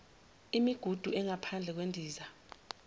imigudu engaphandle kwendiza